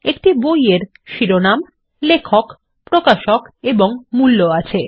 একটি বই এর শিরোনাম লেখক প্রকাশক এবং মূল্য আছে